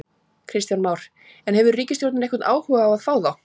Kristján Már: En, hefur ríkisstjórnin einhvern áhuga á að fá þá?